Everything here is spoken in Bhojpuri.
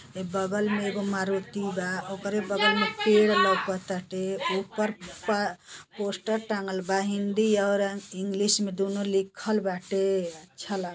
ए बगल में एगो मारुति बा ओकरे बगल में पेड़ लउकताटे ऊपर पा पोस्टर टाँगल बा। हिन्दी और अन्-इंग्लिश में दूनो लिखल बाटे। अच्छा लाग --